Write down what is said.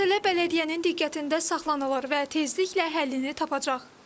Məsələ bələdiyyənin diqqətində saxlanılır və tezliklə həllini tapacaq.